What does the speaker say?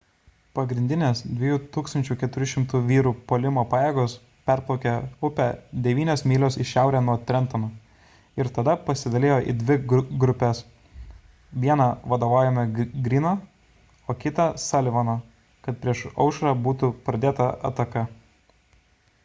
pagrindinės 2 400 vyrų puolimo pajėgos perplaukė upę devynios mylios į šiaurę nuo trentono ir tada pasidalijo į dvi grupes vieną vadovaujamą greeno o kitą sullivano kad prieš aušrą būtų pradėta ataka